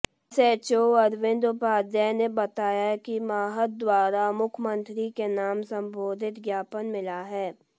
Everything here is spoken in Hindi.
एसएचओ अरविंद उपाध्याय ने बताया कि महंत द्वारा मुख्यमंत्री के नाम संबोधित ज्ञापन मिला है